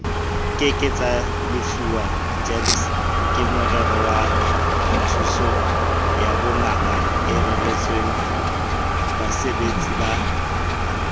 ke ke tsalefuwa gemskemorerowathusoyabongakaoreretswengbasebeletsi ba